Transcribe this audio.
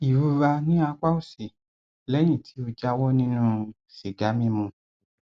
ìrora ní apá òsì lẹyìn tí ó jáwọ nínú sìgá mímu